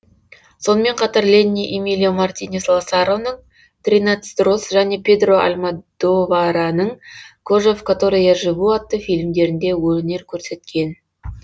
сонымен қатар ленни эмилио мартинес ласароның тринадцать роз және педро альмодовараның кожа в которой я живу атты фильмдерінде өнер көрсеткен